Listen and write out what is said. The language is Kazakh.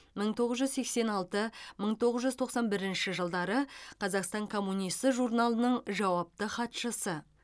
мың тоғыз жүз сексен алты мың тоғыз жүз тоқсан бірінші жылдары қазақстан коммунисі журналының жауапты хатшысы